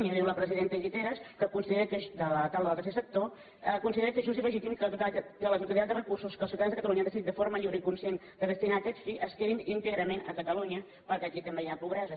i ho diu la presidenta guiteras de la taula del tercer sector que considera que és just i legítim que la totalitat de re·cursos que els ciutadans de catalunya han decidit de forma lliure i conscient de destinar a aquest fi es que·din íntegrament a catalunya perquè aquí també hi ha pobresa